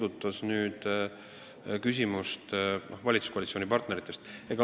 Aga teie küsimus puudutas ka valitsuskoalitsiooni partnereid.